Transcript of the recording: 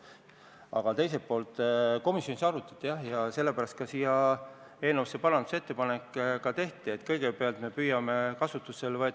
Aga mis puudutab teist poolt, siis seda komisjonis arutati, jah, ja sellepärast tehti eelnõusse ka parandusettepanek, et kõigepealt püüame võtta kasutusele laenud.